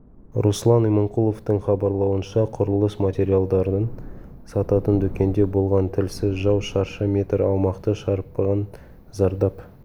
руслан иманқұловтың хабарлауынша құрылыс материалдарын сататын дүкенде болған тілсіз жау шаршы метр аумақты шарпыған зардап